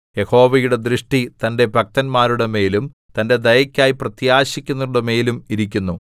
യഹോവയുടെ ദൃഷ്ടി തന്റെ ഭക്തന്മാരുടെമേലും തന്റെ ദയയ്ക്കായി പ്രത്യാശിക്കുന്നവരുടെമേലും ഇരിക്കുന്നു